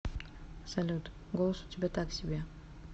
салют голос у тебя так себе